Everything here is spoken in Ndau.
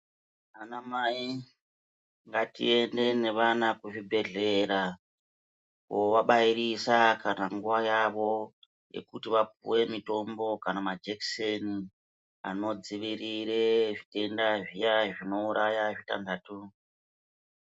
Ana mai ngatiende ngevana kuzvibhedhlera kovabairisa kana nguvayavo yekuti vapiwe mitombo kana majekiseni anodzivirire zvitenda zviyanhi zvinouraya zvitanhatu .